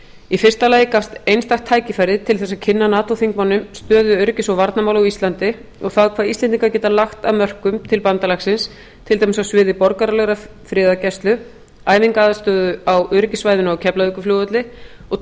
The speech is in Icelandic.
í fyrsta lagi gafst einstakt tækifæri til þess að kynna nato þingmönnum stöðu öryggis og varnarmála á íslandi og það hvað íslendingar geta lagt af mörkum til bandalagsins til dæmis á sviði borgaralegrar friðargæslu æfingaaðstöðu á öryggissvæðinu á keflavíkurflugvelli og